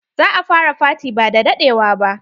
Za a fara faty ba da daɗewa ba.